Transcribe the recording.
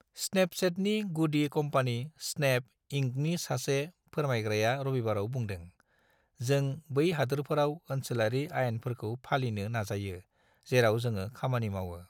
स्नेपचेटनि गुदि company Snap, इंकनि सासे फोरमायग्राया रबिबाराव बुंदों, "जों बै हादोरफोराव ओनसोलारि आयेनफोरखौ फालिनो नाजायो जेराव जोङो खामानि मावो"।